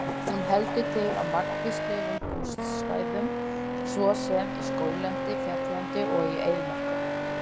Hún heldur til á margvíslegum búsvæðum svo sem í skóglendi, fjalllendi og í eyðimörkum.